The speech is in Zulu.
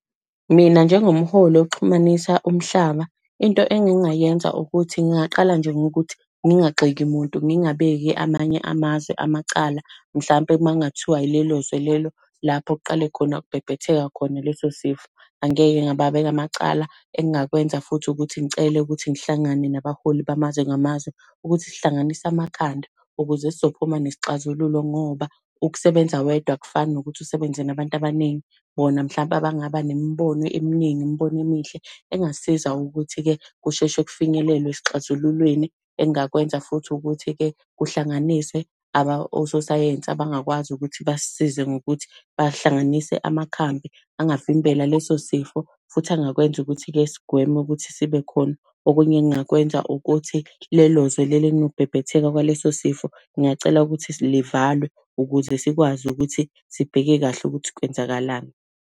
Mina njengomholi oxhumanisa umhlaba, into engingayenza ukuthi ngingaqala nje ngokuthi ngingazigxeki muntu, ngingabeki amanye amazwe amacala. Mhlampe uma kungathiwa yilelo zwe lelo, lapho kuqale khona ukubhebhetheka khona leso sifo, angeke ngababeka amacala. Engingakwenza futhi ukuthi ngicele ukuthi ngihlangane nabaholi bamazwe ngamazwe, ukuthi sihlanganise amakhanda ukuze sizophuma nesixazululo ngoba, ukusebenza wedwa akufani nokuthi usebenze nabantu abaningi, bona mhlampe abangaba nemibono eminingi, imibono emihle engasisiza ukuthi-ke kusheshe kufinyelelwe esixazululweni. Engingakwenza futhi ukuthi-ke kuhlanganiswe ososayensi, abangakwazi ukuthi basisize ngokuthi bahlanganise amakhambi angavimbela leso sifo, futhi angakwenza ukuthi-ke sigweme ukuthi sibe khona. Okunye engingakwenza ukuthi lelo zwe lelo elinokubhebhetheka kwaleso sifo, ngingacela ukuthi livalwe ukuze sikwazi ukuthi sibheke kahle ukuthi kwenzakalani.